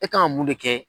E kan ka mun de kɛ